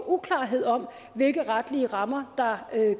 uklarhed om hvilke retlige rammer der